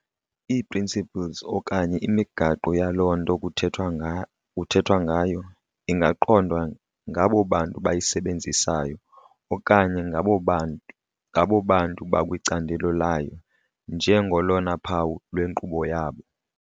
Ii"principles" okanye imigaqo yaloo nto kuthethwa ngayo ingaqondwa ngabo bantu bayisebenzisayo okanye ngabo bantu bakwicandelo layo nje ngolona phawu lwenkqubo yabo.